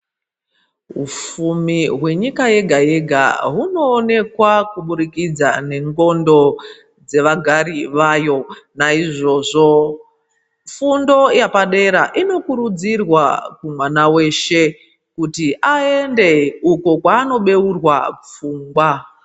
Ufumi hwenyika yega-yega hunoonekwa kubudikidza nendxondo dzevagari vayo naizvozvo fundo yapadera inokurudzirwa kumwana weshe kuti aende uko kwanobeurwa pfungwa.